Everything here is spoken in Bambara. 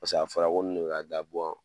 Paseke a fɔra ko nunnu de bɛ ka gabɔ.